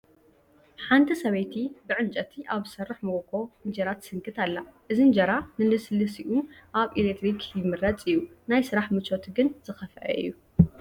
ሓንቲ ሰበይቲ ብዕንጨይቲ ኣብ ዝሰርሕ መጎጎ እንጀራ ትስንክት ኣላ፡፡ እዚ እንጀራ ንልስላሰኡ ካብ ኤለክትሪክ ይምረፅ እዩ፡፡ ናይ ስራሕ ምቾቱ ግን ዝኸፍአ እዩ፡፡